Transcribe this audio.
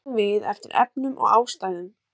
Bætum við eftir efnum og ástæðum